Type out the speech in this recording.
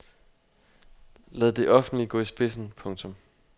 Lad det offentlige gå i spidsen. punktum